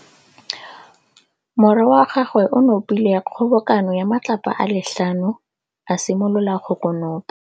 Morwa wa gagwe o nopile kgobokanô ya matlapa a le tlhano, a simolola go konopa.